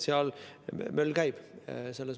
Seal möll käib.